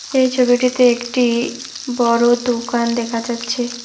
এই ছবিটিতে একটি বড় দোকান দেখা যাচ্ছে।